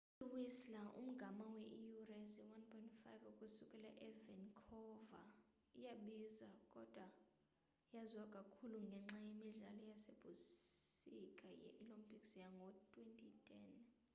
i-whistler umgama wee iiyure eziyi-1.5 ukusukela e-vancouver iyabiza kodwa yaziwa kakhulu ngenxa yemidlalo yasebusika yee-olympics yango-2010